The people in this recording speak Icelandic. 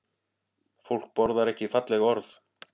Fólk borðar ekki falleg orð